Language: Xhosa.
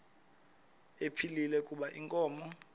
ephilile kuba inkomo